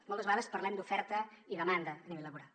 moltes vegades parlem d’oferta i demanda a nivell laboral